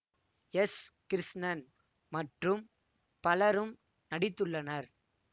S Krishnan மற்றும் பலரும் நடித்துள்ளனர்